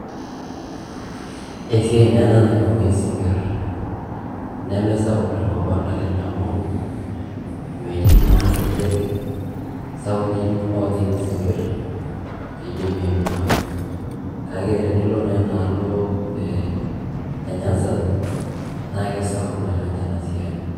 Esiai naa ena naibung'i isinkir, nemesapuk tenkop ang' naleng' amu metii naa irkejek sapukin oojing' isinkir piidimi aibung'a. Kake tenilo naa ena alo ee Nyanza naake sapuk naleng' ena siai.